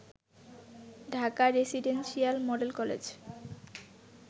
Dhaka residential model college